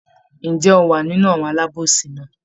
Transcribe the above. Ǹjẹ́ ó wa nínú àwọn alábòsí náà?